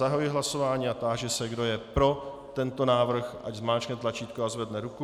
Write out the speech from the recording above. Zahajuji hlasování a táži se, kdo je pro tento návrh, ať zmáčkne tlačítko a zvedne ruku.